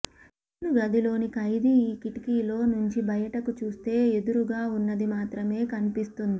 jail గదిలోని ఖైదీ ఈ కిటికీలో నుంచి బయటకు చూస్తే ఎదురుగా ఉన్నది మాత్రమే కనిపిస్తుంది